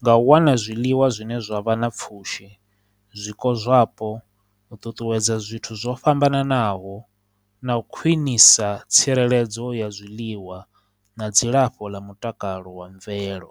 nga u wana zwiḽiwa zwine zwa vha na pfhushi, zwiko zwapo, u ṱuṱuwedza zwithu zwo fhambananaho na u khwinisa tsireledzo ya zwiḽiwa na dzilafho ḽa mutakalo wa mvelo.